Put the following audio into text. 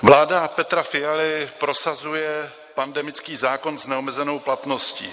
Vláda Petra Fialy prosazuje pandemický zákon s neomezenou platností.